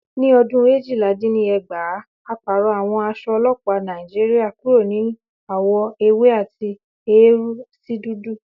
Ní ọdún éjìla-din-ní-ẹgbàá, a pàrọ̀ àwọ̀ aṣọ ọlọ́pàá Nàìjíríà kúrò ní àwọ̀ ewé àti eérú sí dúdú